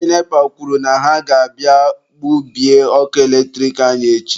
Ndị NEPA kwuru na ha ga-abịa gbubie ọkụ eletrik anyị echi.